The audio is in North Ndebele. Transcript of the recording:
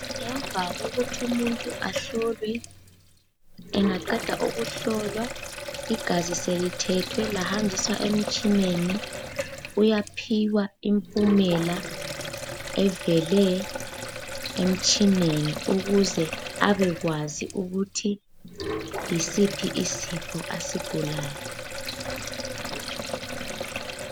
Ngemva kokuthi umuntu ahlolwe, engaqeda ukuhlolwa igazi selithethwe lahanjiswa emtshineni uyaphiwa impumela evele emtshineni ukuze abekwazi ukuthi yisiphi isifo asigulayo.